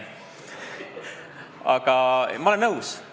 Aga ma olen nõus!